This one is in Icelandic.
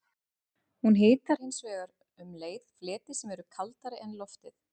Hún hitar hins vegar um leið fleti sem eru kaldari en loftið.